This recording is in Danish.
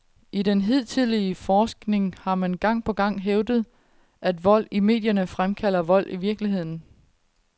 I den hidtidige forskning har man gang på gang hævdet, at vold i medierne fremkalder vold i virkeligheden.